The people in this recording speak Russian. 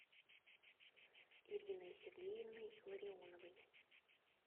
ириной сергеевной ларионовой